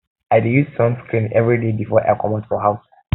um i dey use um sunscreen everyday before i comot for house